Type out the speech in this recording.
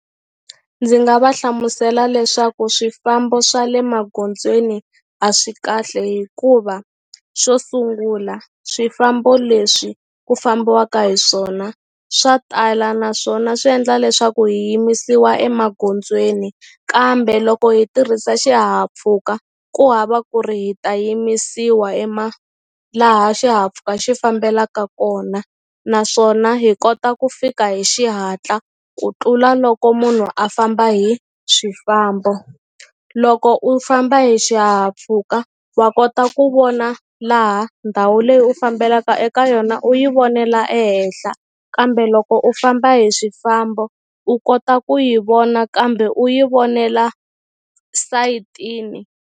Ndzi nga va hlamusela leswaku swifambo swa le magondzweni a swi kahle hikuva xo sungula swifambo leswi ku fambiwaka hi swona swa tala naswona swi endla leswaku hi yimisiwa emagondzweni kambe loko hi tirhisa xihahampfhuka ku hava ku ri hi ta yimisiwa laha xihahampfhuka xi fambelaka kona naswona hi kota ku fika hi xihatla ku tlula loko munhu a famba hi swifambo loko u famba hi xihahampfhuka wa kota ku vona laha ndhawu leyi u fambelaka eka yona u yi vonela ehenhla kambe loko u famba hi swifambo u kota ku yi vona kambe u yi vonela sayitini.